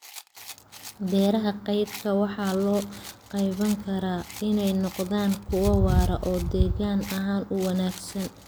Beeraha deyrka waxaa loo qaabayn karaa inay noqdaan kuwo waara oo deegaan ahaan u wanaagsan.